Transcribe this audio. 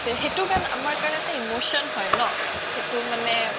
সেইতো গান আমাৰ কাৰনেতো emotion হয় ন সেইতো মানে